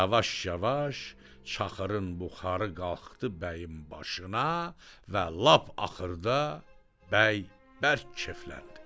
Yavaş-yavaş çaxırın buxarı qalxdı bəyin başına və lap axırda bəy bərk kefləndi.